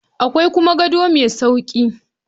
Akwai kuma gado mai sauƙi